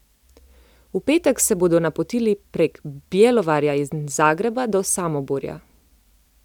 V petek se bodo napotili prek Bjelovarja in Zagreba do Samoborja.